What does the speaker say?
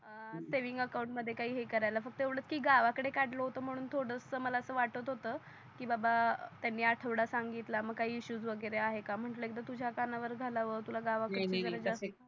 अं saving account मध्ये काही हे करायला फक्त येवडच की गावा कडे कडल होत म्हणून थोडस मला अस मला वाटत होत की बाबा त्यांनी आढवडा सांगितलं मग काही इश्यू वगेरे आहे का म्हटल एकदा तुझ्या कान वर घालाव वर तुला गावा कडच जरा जास्ती नाही नाही